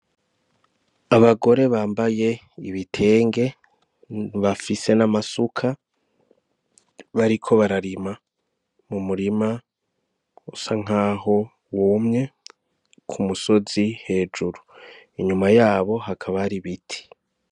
Abagore bambaye ibitenge bafise n'amasuka, bariko bararima mu murima usa nkaho wumye kumusozi hejuru inyuma yaho hakaba hari ibiti.